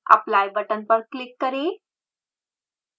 apply button पर click करें